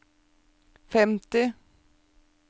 femti